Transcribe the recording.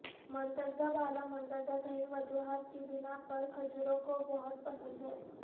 مندرجہ بالا مندرجہ ذیل وجوہات کی بناء پر کھجوروں کو بہت پسند ہے